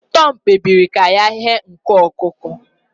Tom kpebiri ka ya ighe nku ọkụkọ